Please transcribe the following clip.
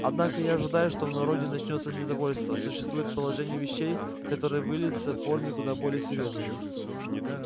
однако я ожидаю что в народе начнётся недовольство существует положение вещей которое выльется в формы куда более серьёзные